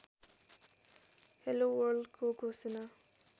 hello वर्ल्डको घोषणा